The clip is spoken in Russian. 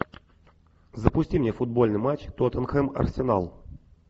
запусти мне футбольный матч тоттенхэм арсенал